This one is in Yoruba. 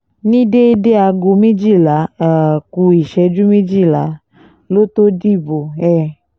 ní déédé aago méjìlá um ku ìṣẹ́jú méjìlá ló tóó dìbò um